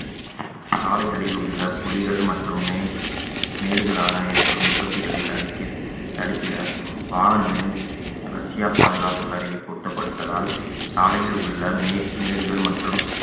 சாலைகளில் உள்ள குழிகள் மற்றும் மேல்~ மேடுகளான ஏற்படும் விபத்துகளை தடுக்கி தடுக்கிட வாகனங்களின் அலட்சிய பாதுகாப்பு கருவி பொருத்தப்பட்டதால் சாலையில் உள்ள மே~ மேடுகள் மற்றும்